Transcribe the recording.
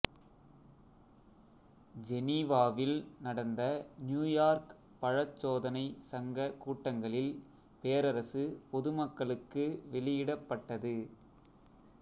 ஜெனீவாவில் நடந்த நியூயார்க் பழச்சோதனை சங்க கூட்டங்களில் பேரரசு பொதுமக்களுக்கு வெளியிடப்பட்டது